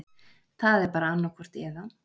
Það er bara annaðhvort eða.